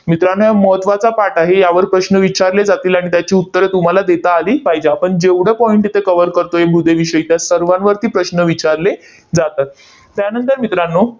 मित्रांनो, हा महत्त्वाचा पाठ आहे. यावर प्रश्न विचारले जातील. आणि त्याची उत्तरं तुम्हाला देता आली पाहिजे. आपण जेवढं point इथे cover करतोय मृदेविषयी, त्या सर्वांवरती प्रश्न विचारले जातात. त्यानंतर मित्रांनो,